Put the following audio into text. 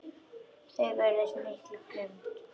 Þeir vörðust af mikilli grimmd.